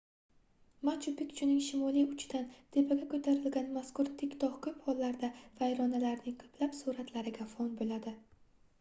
machu-pikchuning shimoliy uchidan tepaga koʻtarilgan mazkur tik togʻ koʻp hollarda vayronalarning koʻplab suratlariga fon boʻladi